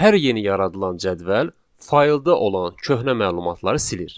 Hər yeni yaradılan cədvəl faylda olan köhnə məlumatları silir.